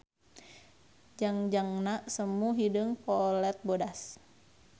Jangjangna semu hideung polet bodas.